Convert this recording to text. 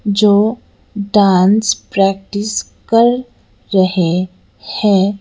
जो dance practice कर रहे हैं।